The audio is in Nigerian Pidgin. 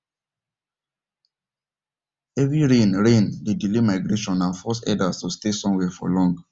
heavy rain rain dey delay migration and force herders to stay somewhere for long